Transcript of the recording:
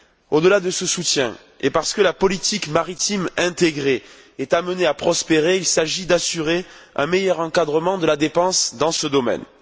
Au delà de ce soutien et parce que la politique maritime intégrée est amenée à prospérer, il s'agit d'assurer un meilleur encadrement de la dépense dans ce domaine.